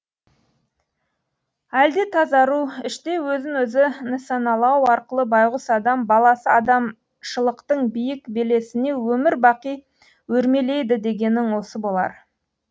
әлде тазару іштей өзін өзі нысаналау арқылы байғұс адам баласы адамшылықтың биік белесіне өмір бақи өрмелейді дегенің осы болар